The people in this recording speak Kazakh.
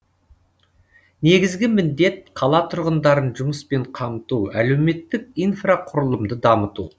негізгі міндет қала тұрғындарын жұмыспен қамту әлеуметтік инфрақұрылымды дамыту